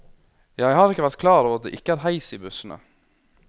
Jeg har ikke vært klar over at det ikke er heis i bussene.